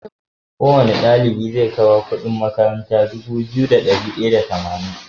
Kowane ɗalibi ze kawo Ƙudin makaranta Dubu biyu da dari daya da tamanin